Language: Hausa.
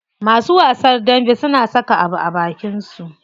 Masu wasan dambe suna saka abu a abakin su.